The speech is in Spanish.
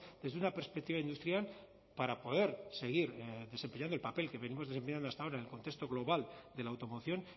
desde una perspectiva industrial para poder seguir desempeñando el papel que venimos desempeñando hasta ahora en el contexto global de la automoción